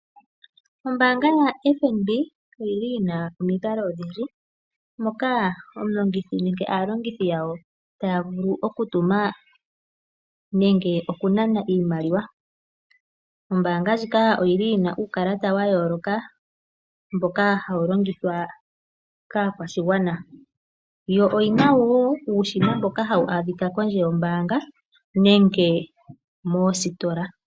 Ombaanga yaFNB oyili yina omikalo odhindji moka omulongithi nenge aalongithi yawo taya vulu okutuma nenge okunana iimaliwa. Ombaanga ndjika oyili yina uukalata wa yooloka mboka hawu longithwa kaakwashigwana, yo oyina wo uushina mboka hawu adhika kondje yombaanga nenge moositola.